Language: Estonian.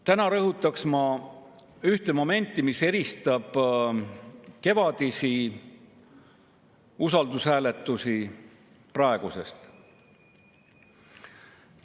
Täna ma rõhutaksin ühte momenti, mis eristab kevadisi usaldushääletusi praegustest.